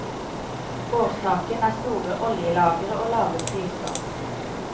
Årsaken er store oljelagre og lave priser.